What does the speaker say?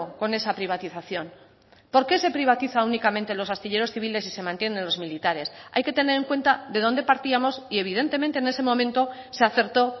con esa privatización por qué se privatiza únicamente los astilleros civiles y se mantienen los militares hay que tener en cuenta de dónde partíamos y evidentemente en ese momento se acertó